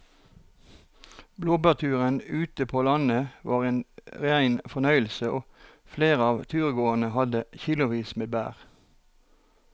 Blåbærturen ute på landet var en rein fornøyelse og flere av turgåerene hadde kilosvis med bær.